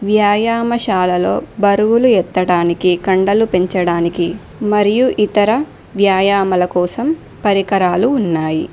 వ్యాయామశాలలో బరువులు ఎత్తడానికి కండలు పెంచడానికి మరియు ఇతర వ్యాయామల కోసం పరికరాలు ఉన్నాయి.